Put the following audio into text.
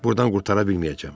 Burdan qurtara bilməyəcəm.